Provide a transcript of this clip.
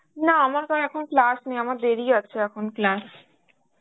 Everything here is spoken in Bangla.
না আমার তো এখন class নেই আমার দেরি আছে এখন class.